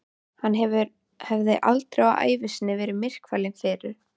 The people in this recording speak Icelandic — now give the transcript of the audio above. Hann hafði aldrei á ævi sinni verið myrkfælinn fyrr.